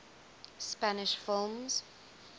spanish films